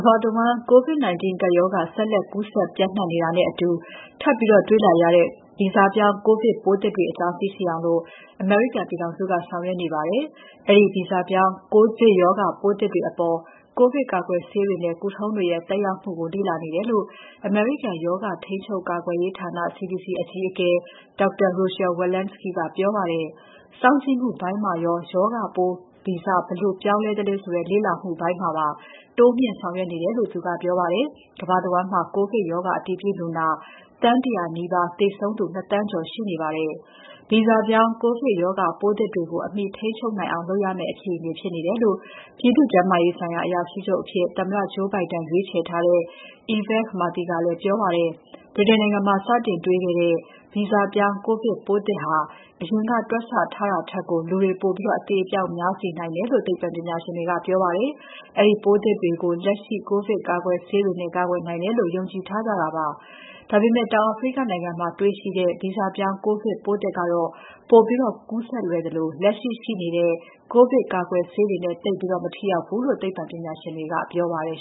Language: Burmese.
ဘာတဝန်း ကိုဗစ်ကပ်ရောဂါ ဆက်လက် ကူးစက်ပျံ့နှံ့နေတာနဲ့အတူ ထပ်ပြီးတေ့ွလာရတဲ့ ဗီဇပြောင်း ကိုဗစ်ပိုးသစ်တွေအကြောင်း သိရှိအောင် အမေရိကန်ပြည်ထောင်စုက ဆောင်ရွက်နေပါတယ်။ အဲဒီ ဗီဇပြောင်း ကိုဗစ်ရောဂါပိုးသစ်တွေအပေါ် ကိုဗစ်ကာကွယ်ဆေးတွေနဲ့ ကုသထုံးတွေရဲ့ သက်ရောက်မှုကို လေ့လာနေတယ်လို့ အမေရိကန်ရောဂါ ထိန်းချုပ်ကာကွယ်ရေးဌာန CDC အကြီးအကဲ Dr. Rochelle Walensky ကပြောပါတယ်။ စောင့်ကြည့်မှုပိုင်းမှာရော ရောဂါပိုး ဗီဇဘယ်လိုပြောင်းသလဲဆိုတဲ့ လေ့လာမှုပိုင်းမှာပါ တိုးမြှင့်ဆောင်ရွက်နေတယ်လို့ သူကပြောပါတယ်။ ကမ္ဘာတဝန်းမှာ ကိုဗစ်ရောဂါ အတည်ပြုလူနာ သန်း ၁၀၀ နီးပါး၊ သေဆုံးသူ ၂,၀၀၀,၀၀၀ ကျော်ရှိနေပါတယ်။ ဗီဇပြောင်း ကိုဗစ်ရောဂါပိုးသစ်တွေကို အမှီထိန်းချုပ်နိုင်အောင်လုပ်ရမယ့် အခြေအနေဖြစ်နေတယ်လို့ ပြည်သူ့ကျန်းမာရေးဆိုင်ရာ အရာရှိချုပ်အဖြစ် သမ္မတ Joe Biden ရွေးချယ်ထားတဲ့ Vivek Murthy ကလည်းပြောပါတယ်။ ဗြိတိန်နိုင်ငံမှာ စတင်တေ့ွခဲ့ရတဲ့ ဗီဇပြောင်း ကိုဗစ်ပိုးသစ်ဟာ အရင်ကတွက်ဆထားတာထက်ကို လူတွေ ပိုပြီး အသေအပျောက်များစေနိုင်တယ်လို့ သိပ္ပံပညာရှင်တွေက ပြောပါတယ်။ အဲဒီပိုးသစ်တွေကို လက်ရှိ ကိုဗစ်ကာကွယ်ဆေးတွေနဲ့ ကာကွယ်နိုင်တယ်လို့ ယုံကြည်ထားကြတာပါ။ ဒါပေမဲ့ တောင်အာဖရိကနိုင်ငံမှာ တေ့ွရှိတဲ့ ဗီဇပြောင်း ကိုဗစ်ပိုးသစ်ကတော့ ပိုပြီး ကူးစက်လွယ်သလို လက်ရှိရှိနေတဲ့ ကိုဗစ်ကာကွယ်ဆေးတွေနဲ့ သိပ်ပြီး မထိရောက်ဘူးလို့ သိပ္ပံပညာရှင်တွေက ပြောပါတယ်